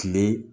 Kile